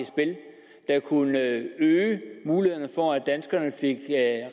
at kunne øge mulighederne for at danskerne fik